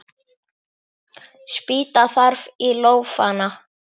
Spýta þarf í lófana.